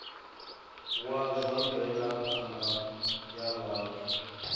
wa zwa mvelaphanda ya vhathu